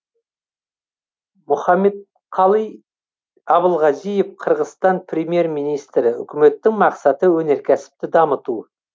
мұхаммедкалый абылгазиев қырғызстан премьер министрі үкіметтің мақсаты өнеркәсіпті дамыту